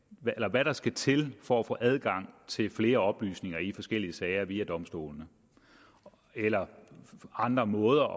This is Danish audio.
hvad der skal til for at få adgang til flere oplysninger i forskellige sager via domstolene eller andre måder